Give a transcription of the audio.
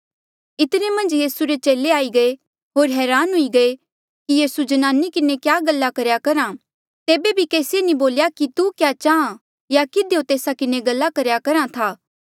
इतने मन्झ यीसू रे चेले आई गये होर हरान हुए कि यीसू ज्नाने किन्हें क्या गल्ला करेया करहा तेबे बी केसिए नी बोल्या कि तू क्या चाहां या किधियो तेस्सा किन्हें गल्ला करेया करहा था